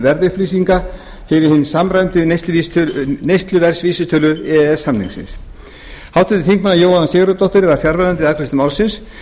verðupplýsinga fyrir hina samræmdu neysluverðsvísitölu e e s svæðisins háttvirtir þingmenn jóhanna sigurðardóttir var fjarverandi við afgreiðslu málsins